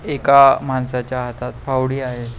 एका माणसाच्या हातात फावडी आहे.